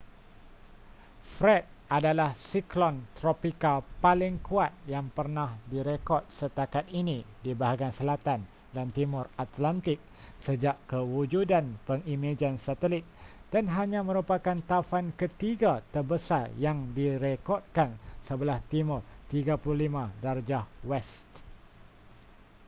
fred adalah siklon tropika paling kuat yang pernah direkod setakat ini di bahagian selatan dan timur atlantik sejak kewujudan pengimejan satelit dan hanya merupakan taufan ketiga terbesar yang direkodkan sebelah timur 35°w